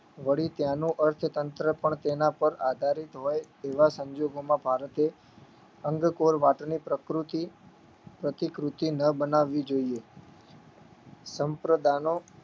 વળી ત્યાંનું અર્થતંત્ર પણ તેના પર આધારિત હોય તેવા સંજોગોમાં ભારતે અંગકોર વાતની પ્રકૃતિ પ્રતિકૃતિ ન બનાવવી જોઈએ સંપ્રદાનો